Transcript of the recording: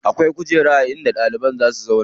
Akwai kujera in da ɗalibai za si zauna.